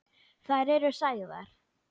Þær eru sagðar.